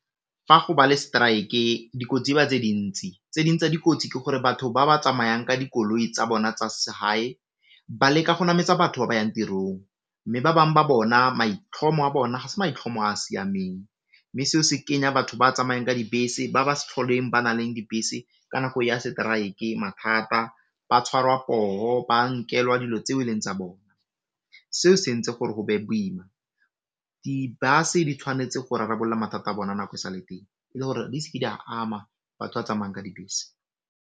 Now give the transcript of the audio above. Fa go ba le strike dikotsi e ba tse dintsi tse ding tsa dikotsi ke gore batho ba ba tsamayang ka dikoloi tsa bona tsa segae ba leka go nametsa batho ba ba yang tirong, mme ba bang ba bona maitlhomo a bona ga se maitlhomo a a siameng, mme seo se kenya batho ba tsamayang ka dibese ba ba sa tlholeng ba na leng dibese ka nako ya strike mathata, ba tshwarwa poo, ba nkelwa dilo tse e leng tsa bona. Seo se entse gore go be boima, dibase di tshwanetse go rarabolla mathata a bona nako e sa le teng le gore di seke di a ama batho ba tsamayang ka dibese.